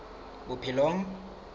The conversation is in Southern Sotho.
bophelong